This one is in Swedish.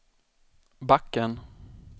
backen